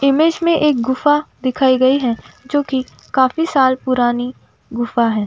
Image में एक गुफा दिखाई गयी है जो कि काफी साल पुरानी गुफा है।